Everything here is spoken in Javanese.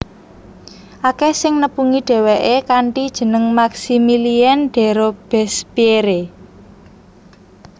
Akèh sing nepungi dhéwéké kanthi jeneng Maximilien de Robespierre